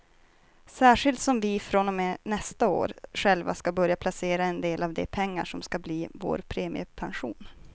Särskilt som vi från och med nästa år själva ska börja placera en del av de pengar som ska bli vår premiepension.